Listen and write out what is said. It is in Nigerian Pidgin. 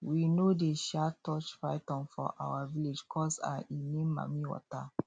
we no dey um touch python for our village coz um e mean mamiwater